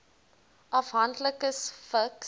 afhanklikes vigs